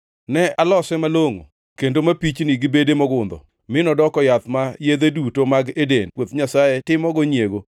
Ne alose malongʼo kendo mapichni gi bede mogundho, mi nodoko yath ma yedhe duto mag Eden, puoth Nyasaye timogo nyiego.